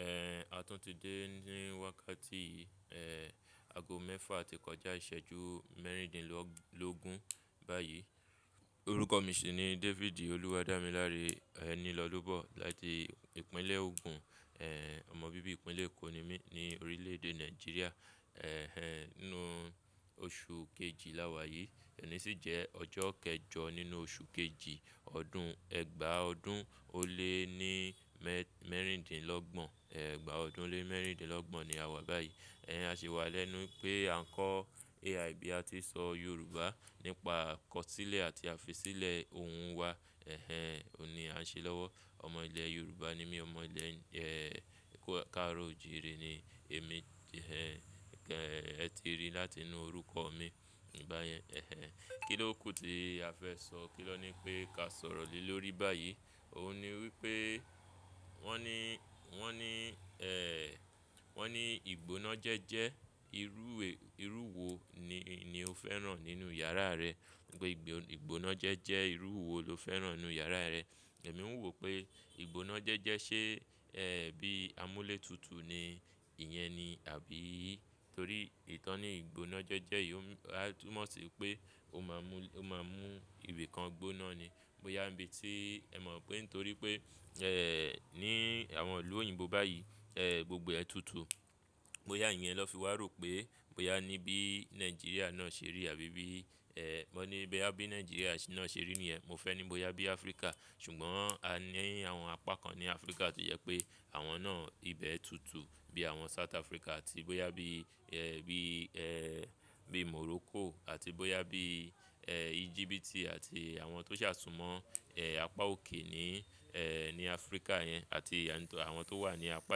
Eh, àtún ti dé ní wákàtí yìí, eh, ago mẹ́fà àti kọjá ìṣẹ́jú mẹ́rìndínlógún báyìí. Orúkọ mi sì ni David Olúwadámiláre, ẹni lọ́bọ̀ láti ìpínlẹ̀ Ogun, eh, ọmọ bíbí ìpínlẹ̀ Ogun ni mí ní orílẹ̀ èdè Nàìjíríà. Eh, inú oṣù kejì lá wa yìí, oni sì jẹ́ ọjọ́ kẹjọ nínú oṣù kejì ọdún ẹgbàá ọdún ó lé ní mẹ́rìndínlọ́gbọ̀n, ẹgbàá ọdún lé mẹ́rìndínlọ́gbọ̀n ni a wà báyìí. Eh, a ṣe wà lẹ́nu pé à ń kọ́ AIB àti sọ Yorùbá nípa kọ̀sílẹ̀ àti àfisílẹ̀ ohùn wa, ẹhen, òun ni à ń ṣe lọ́wọ́. Ọmọ ilẹ̀ Yorùbá ni mí, ọmọ ilẹ̀, eh, Ẹ̀kó, Káróòjì rí ni èmi, ẹhen, ẹ ti rí láti inú orúkọ mi báyẹn, ẹhen. Kí ló kù tí a fẹ́ sọ, kí ló ni pé kí a sọ̀rọ̀ lé lórí báyìí? Òun ni wípé wọ́n ní, wọ́n ní, eh, wọ́n ní ìgbónájẹjẹ irú, irú wo ni, ni o fẹ́ràn nínú yàrá rẹ? Wípé ìgbónájẹjẹ irú wo lo fẹ́ràn nínú yàrá rẹ? Ẹ̀mí ń wò pé ìgbónájẹjẹ ṣe, eh, bí amúlétutù ni ìyẹn ni àbí? Torí ìtọ́ni ìgbónájẹjẹ yìí ó máa túmọ̀ sí pé ó máa mú, ó máa mú ìbi kan gbóná ni. Bóyá ńbí tí ẹ mọ̀ pé nítorí pé, eh, ní àwọn ìlú òyìnbó báyìí, eh, gbogbo ẹ tutù. Bóyá ìyẹn na fi wá rò pé, bóyá níbí Nàìjíríà náà ṣe rí àbí bí, eh, wọ́n ní bí Nàìjíríà náà ṣe rí min ẹ́, mo fẹ́ ní bóyá bí Áfríkà, ṣùgbọ́n a ní àwọn apá kan ní Áfríkà tó jẹ́ pé àwọn náà ibẹ̀ ẹ tutù, bí àwọn South Africa àti bóyá bí, eh, bí, eh, bí Morocco àti bóyá bí, eh, Egypt àti àwọn tó ṣàtúnmọ̀, eh, apá òkè ní, eh, ní Áfríkà yẹn àti àwọn tó wà ní apá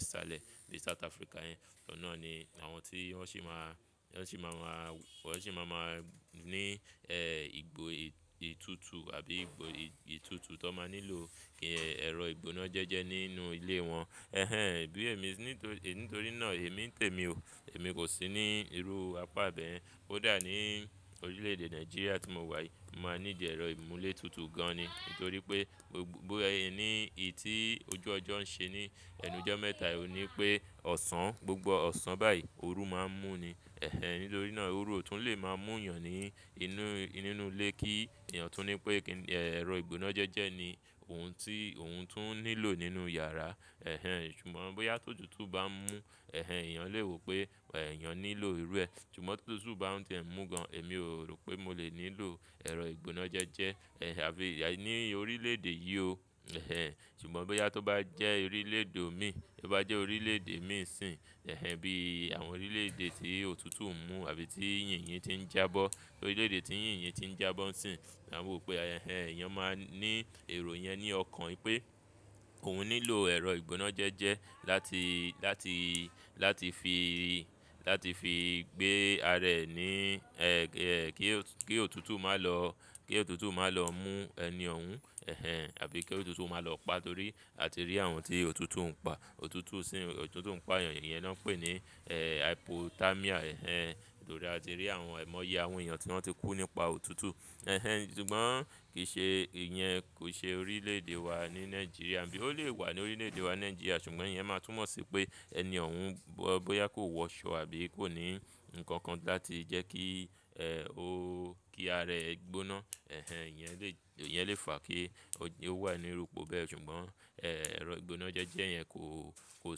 ìsàlẹ̀ ní South Africa yẹn. Ọ̀nà ni àwọn tí wọ́n sì máa, wọ́n sì máa wà, wọ́n sì máa, máa ní, eh, ìgbo ìtútù àbí ìgbo ìtútù tó máa nílò kí ẹ̀rọ ìgbónájẹjẹ nínú ilé wọn. Ẹhẹ́n, bí èmi sí ní, nítorí náà èmi ń tèmi o, èmi kò sí ní irú apá bẹ́yẹn. Ko dà ní orílẹ̀ èdè Nàìjíríà tí mo wà yìí mo máa need ẹ̀rọ ìmúlétutù gan ni. Nítorí pé ní ì tí ojú ọjọ́ ń ṣe ní ẹnu ọjọ́ mẹ́ta yìí ni pé ọ̀sán, gbogbo ọ̀sán báyìí ooru máa ń mú ni. Eh, nítorí náà ooru ò tún le máa mú èèyàn ní inú, nínú ilé kí èèyàn tún ní pé kí ẹ̀rọ ìgbónájẹjẹ ni ohun tí, ohun tún nílò nínú yàrá. Eh, ṣùgbọ́n bóyá tó tutù bá ń mú, eh, èèyàn lè wò pé èèyàn nílò irú ẹ, ṣùgbọ́n tó tútù bá ń tì ẹ́ mú gan, èmi ò rò pé mo lè nílò ẹ̀rọ ìgbónájẹjẹ, eh, àbí ní orílẹ̀ èdè yìí o, ẹhen. Ṣùgbọ́n bóyá tó bá jẹ́ orílẹ̀ èdè mi, bóyá jẹ́ orílẹ̀ èdè mi sìn, ẹhen, bí àwọn orílẹ̀ èdè tí òtútù ń mú àbí tí yìnyín yìnyín ti ń jábọ́, orílẹ̀ èdè tí yìnyín yìnyín ti ń jábọ́ sìn, à ń rò pé, ẹhen, èèyàn máa ní èrò yẹn ní ọkàn pé ohun nílò ẹ̀rọ ìgbónájẹjẹ láti, láti, láti fi, láti fi gbé ara ẹ ní, eh, kí òtútù máa lọ, kí òtútù máa lọ mú ẹni òun, ẹhen, àbí kí òtútù máa lọ pa torí a ti rí àwọn tí òtútù ń pa. Òtútù sì ń, òtútù ń pa èèyàn, ìyẹn lọ́ ń pè ní, eh, hypotermia, ẹhen. Torí a ti rí àwọn ẹ̀mọ́ yẹ àwọn èèyàn tí wọ́n ti kú nípa òtútù. Eh, ṣùgbọ́n kì í ṣe, ìyẹn kò ṣe orílẹ̀ èdè wa ní Nàìjíríà, àbí ó lè wà ní orílẹ̀ èdè wa Nàìjíríà ṣùgbọ́n ìyẹn máa túmọ̀ sí pé ẹni òhun bóyá kò wọ aṣọ àbí kò ní nǹkan kan láti jẹ́ kí, eh, ó, kí ara ẹ gbóná. Eh, ìyẹn lè, ìyẹn lè fà kí ó wà ní orúkọ bẹ́ẹ̀ ṣùgbọ́n, eh, ẹ̀rọ ìgbónájẹjẹ yẹn kò, kò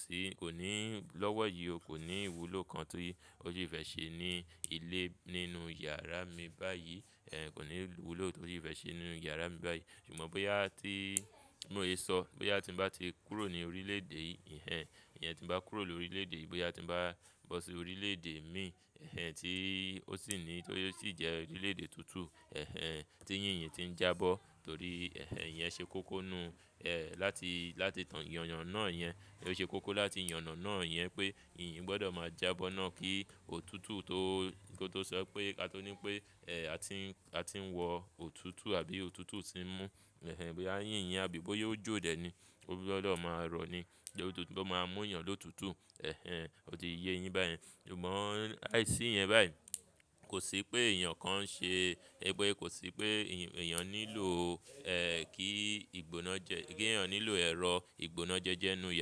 sí, kò ní lọ́wọ́ yìí o, kò ní ìwúlò kan tó, ó sì fẹ́ ṣe ní ilé nínú yàrá mi báyìí, eh, kò ní ìwúlò tó sì fẹ́ ṣe nínú yàrá mi báyìí. Ṣùgbọ́n bóyá tí mo lè sọ, bóyá tí ń bá ti kúrò ní orílẹ̀ èdè yìí, ìyẹn, ìyẹn tí ń bá kúrò ní orílẹ̀ èdè yìí, bóyá tí ń bá bọ́ sí orílẹ̀ èdè mi, eh, tí ó sì ní, tí ó sì jẹ́ orílẹ̀ èdè tútù, eh, tí yìnyín yìnyín ti ń jábọ́. Torí, ẹhen, ìyẹn ṣe kókó nù, eh, láti, láti ìyàn, ìyàn náà yẹn, ó ṣe kókó láti ìyàn náà yẹn pé yìnyín gbọdọ̀ máa jábọ́ náà kí òtútù tó, kí ó tó sọ pé ká tó ní pé, eh, a ti ń, a ti ń wọ òtútù àbí òtútù sì ń mú. Eh, bí ànyìn yìnyín, àbí bóyá ó jó dẹ̀ ni, ó gbọdọ̀ máa rọ̀ ni kí òtútù tó máa mú èèyàn ló tútù. Eh, ó ti yé yin báyẹn. Ṣùgbọ́n àìsí yẹn báyìí kò sí pé èèyàn kan ń ṣe, wipe kò sí pé èèyàn nílò, eh, kí ìgbóná jẹ́, kí èèyàn nílò ẹ̀rọ ìgbónájẹjẹ nínú yàrá.